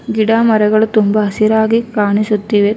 ಗಿಡ ಮರಗಳು ತುಂಬ ಹಸಿರಾಗಿ ಕಾಣಿಸುತ್ತಿವೆ.